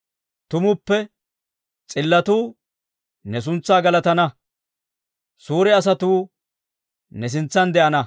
Tumuppe s'illotuu ne suntsaa galatana; suure asatuu ne sintsan de'ana.